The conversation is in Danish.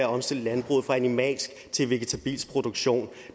omstille landbruget fra animalsk til vegetabilsk produktion